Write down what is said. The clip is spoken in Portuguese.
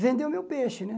Vendeu o meu peixe, né?